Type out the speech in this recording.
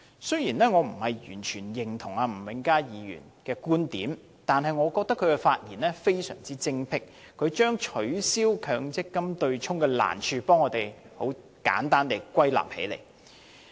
雖然我並非完全認同吳永嘉議員的觀點，但我認為他的發言非常精闢，他將取消強積金對沖機制的難處，為我們很簡單地歸納起來。